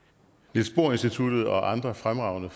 niels bohr institutet og andre fremragende